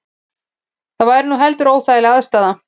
Það væri nú heldur óþægileg aðstaða